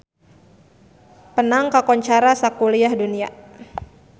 Penang kakoncara sakuliah dunya